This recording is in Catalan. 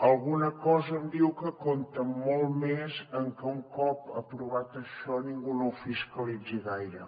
alguna cosa em diu que compten molt més en què un cop aprovat això ningú no ho fiscalitzi gaire